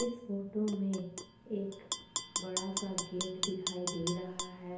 इस फोटो में एक बड़ा सा गेट